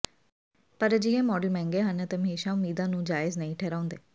ਪਰ ਅਜਿਹੇ ਮਾਡਲ ਮਹਿੰਗੇ ਹਨ ਅਤੇ ਹਮੇਸ਼ਾ ਉਮੀਦਾਂ ਨੂੰ ਜਾਇਜ਼ ਨਹੀਂ ਠਹਿਰਾਉਂਦੇ